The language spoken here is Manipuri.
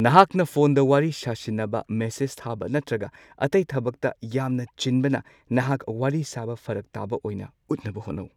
ꯅꯍꯥꯛꯅ ꯐꯣꯟꯗ ꯋꯥꯔꯤ ꯁꯥꯁꯤꯟꯅꯕ, ꯃꯦꯁꯦꯖ ꯊꯥꯕ ꯅꯠꯇ꯭ꯔꯒ ꯑꯇꯩ ꯊꯕꯛꯇ ꯌꯥꯝꯅ ꯆꯤꯟꯕꯅ ꯅꯍꯥꯛ ꯋꯥꯔꯤ ꯁꯥꯕ ꯐꯔꯛ ꯇꯥꯕ ꯑꯣꯏꯅ ꯎꯠꯅꯕ ꯍꯣꯠꯅꯧ꯫